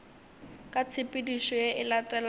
ka tshepedišo ye e latelago